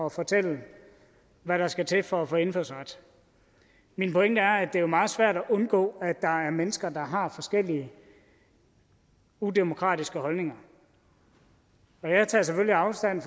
at fortælle hvad der skal til for at få indfødsret min pointe er at det jo er meget svært at undgå at der er mennesker der har forskellige udemokratiske holdninger jeg tager selvfølgelig afstand